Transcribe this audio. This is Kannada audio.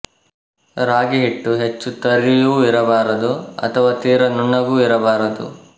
ರಾಗಿಹಿಟ್ಟು ಹೆಚ್ಚು ತರಿಯೂ ಇರಬಾರದು ಅಥವಾ ತೀರ ನುಣ್ಣಗೂ ಇರಬಾರದು